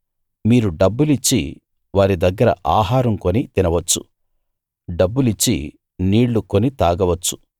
మీరు డబ్బులిచ్చి వారి దగ్గర ఆహారం కొని తినవచ్చు డబ్బులిచ్చి నీళ్లు కొని తాగవచ్చు